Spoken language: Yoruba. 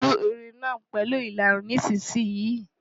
Tú irun náà pẹ̀lú ìlarun nísinsìnyí!